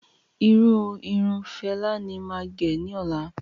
Irú Irun Fela ní máa gẹ̀ ní ọ̀la